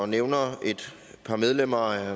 og nævner et par medlemmer